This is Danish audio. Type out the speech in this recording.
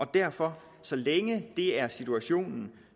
derfor så længe det er situationen